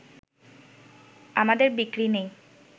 আমাদের বিক্রি নেই